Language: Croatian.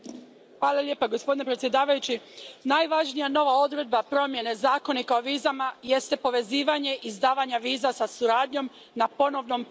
Poštovani predsjedavajući, najvažnija nova odredba promjene Zakonika o vizama jest povezivanje izdavanja viza sa suradnjom na ponovnom prihvatu.